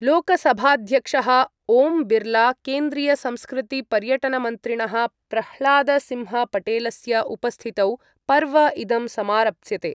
लोकसभाध्यक्षः ओम् बिर्ला केन्द्रीयसंस्कृतिपर्यटनमन्त्रिणः प्रह्लादसिंहपटेलस्य उपस्थितौ पर्व इदम् समारप्स्यते।